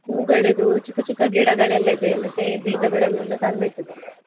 ಹೂಗಳಿದ್ದು ಚಿಕ್ಕ ಚಿಕ್ಕ ಗಿಡಗಳೆಲ್ಲ ಇದೆ, ಮತ್ತೆ ಬೀಜಗಳನ್ನೆಲ್ಲ ತಂದು ಇಟ್ಟಿದ್ದೇನೆ.